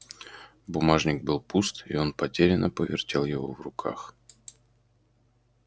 бумажник был пуст и он потерянно повертел его в руках